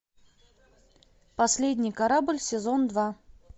последний корабль сезон два